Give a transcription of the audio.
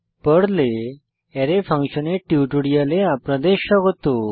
পর্লে আরায় ফাংশনের টিউটোরিয়ালে আপনাদের স্বাগত